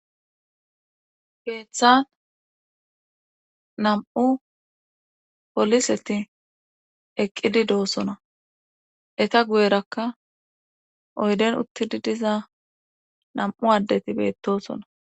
geeththan nam7u poliseti eqqidi doosona eta guyerakka oyden uttidi diza nam7u addeti beettosona